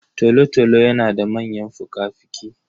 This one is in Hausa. Tolotolo yana da manyan fukafuki.